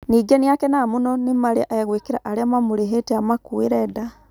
Ningĩ nĩ akenaga mũno nĩ marĩa egwĩkĩra arĩa mamũrĩhete amakuere nda.